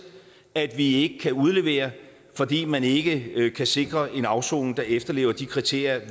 at vi ikke kan udlevere fordi man ikke kan sikre en afsoning der efterlever de kriterier